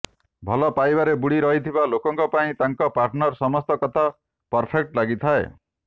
ଭଲ ପାଇବାରେ ବୁଡ଼ି ରହିଥିବା ଲୋକଙ୍କ ପାଇଁ ତାଙ୍କ ପାର୍ଟନର ସମସ୍ତ କଥା ପରଫେକ୍ଟ ଲାଗିଥାଏ